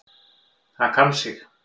Það kann sig.